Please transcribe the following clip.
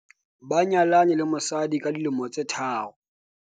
ba nyalane le mosadi ka dilemo tse tharo